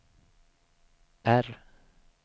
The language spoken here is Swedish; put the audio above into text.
R